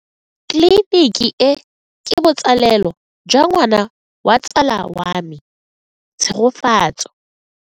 Tleliniki e, ke botsalelo jwa ngwana wa tsala ya me Tshegofatso.